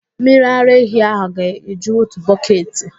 Mmiri ara ehi ahụ ga-eju otu bọketị.